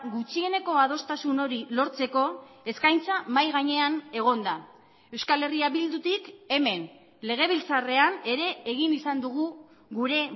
gutxieneko adostasun hori lortzeko eskaintza mahai gainean egon da euskal herria bildutik hemen legebiltzarrean ere egin izan dugu gure